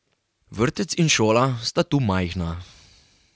Vrtec in šola sta tu majhna.